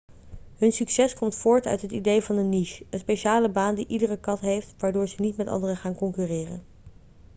hun succes komt voort uit het idee van een niche een speciale baan die iedere kat heeft waardoor ze niet met anderen gaan concurreren